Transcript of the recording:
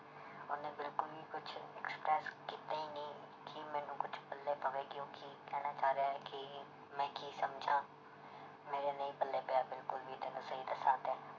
ਉਹਨੇ ਬਿਲਕੁਲ ਵੀ ਕੁਛ ਕੀਤਾ ਹੀ ਨੀ ਕਿ ਮੈਨੂੰ ਕੁਛ ਪੱਲੇ ਪਵੇ ਕਿ ਉਹ ਕੀ ਕਹਿਣਾ ਚਾਹ ਰਿਹਾ ਹੈ ਕੀ ਮੈਂ ਕੀ ਸਮਝਾਂ ਮੇਰੇ ਨਹੀਂ ਪੱਲੇ ਪਿਆ ਬਿਲਕੁਲ ਵੀ ਤੈਨੂੰ ਸਹੀ ਦੱਸਾਂ ਤੇ